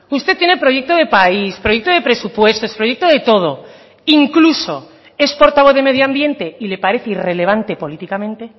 usted tiene proyecto de país proyecto de presupuestos proyecto de todo incluso es portavoz de medio ambiente y le parece irrelevante políticamente